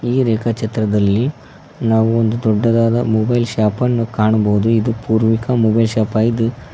ಈ ಒಂದು ರೇಖಾ ಚಿತ್ರದಲ್ಲಿ ನಾವು ಒಂದು ದೊಡ್ಡದಾದ ಮೊಬೈಲ್ ಶಾಪ್ ಅನ್ನು ಕಾಣಬಹುದು ಇದು ಪೂರ್ವಿಕ ಮೊಬೈಲ್ ಶಾಪ್ ಆಗಿದೆ.